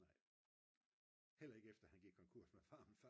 heller ikke efter han gik konkurs med farmen